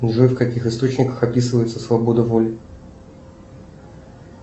джой в каких источниках описывается свобода воли